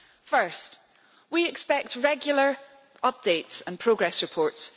First, we expect regular updates and progress reports.